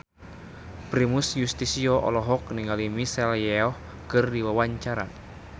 Primus Yustisio olohok ningali Michelle Yeoh keur diwawancara